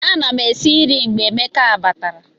Ana m esi nri mgbe Emeka batara